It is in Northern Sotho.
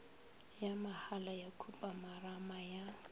ya mahala ya khupamarama ya